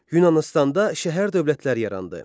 Yunanıstanda şəhər dövlətləri yarandı.